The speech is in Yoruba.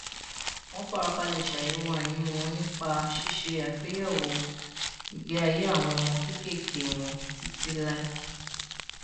wọn farabalẹ ṣàyèwò àìní wọn nípa ṣíṣe àgbéyèwò ìgbé ayé àwọn ọmọ kéékèèké wọn títí láé